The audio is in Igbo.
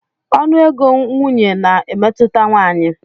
Ọnụ ego nwunye na-emetụta nwanyị.